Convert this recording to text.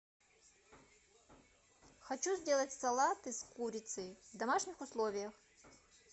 хочу сделать салаты с курицей в домашних условиях